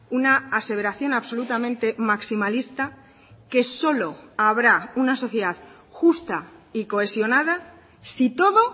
una aseveración absolutamente maximalista que solo habrá una sociedad justa y cohesionada si todo